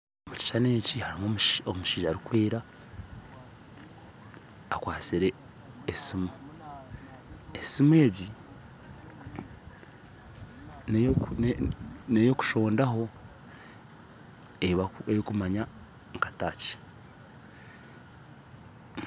Omu kishuushani eki harimu omushaija arikwera akwatsire esiimu, esiimu egi neyokushoondaho erikumanywa nka touch